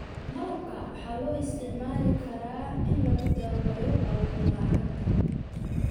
Malabka waxaa loo isticmaali karaa in lagu daweeyo awood la'aanta.